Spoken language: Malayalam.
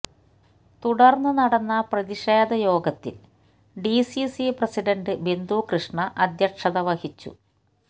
തുടര്ന്ന് നടന്ന പ്രതിഷേധ യോഗത്തില് ഡിസിസി പ്രസിഡന്റ് ബിന്ദു കൃഷ്ണ അദ്ധ്യക്ഷത വഹിച്ചു